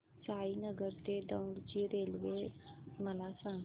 साईनगर ते दौंड ची रेल्वे मला सांग